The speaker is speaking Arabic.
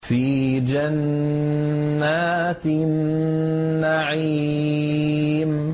فِي جَنَّاتِ النَّعِيمِ